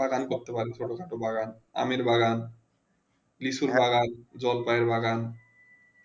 বাগান করতে পারি কোলা বাগান আমের বাগান লিচু বাগান জলপাই বাগান